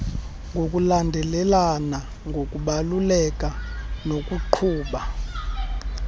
ngokulandelelana ngokubaluleka nokuqhuba